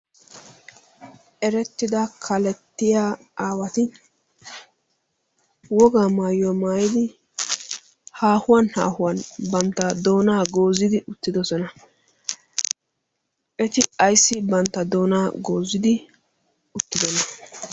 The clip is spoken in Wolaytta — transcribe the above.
erettida kalettiya aawati wogaa maayuywaa maayidi haahuwan haahuwan bantta doonaa goozidi uttidosona. eti aissi bantta doonaa goozidi uttidoona?